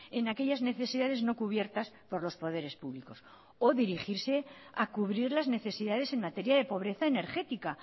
en aquellas necesidades no cubiertas por los poderes públicos o dirigirse a cubrir las necesidades en materia de pobreza energética